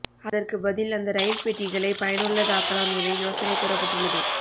அதற்கு பதில் அந்த ரயில் பெட்டிகளை பயனுள்ளதாக்கலாம் என யோசனை கூறப்பட்டுள்ளது